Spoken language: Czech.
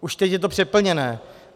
Už teď je to přeplněné.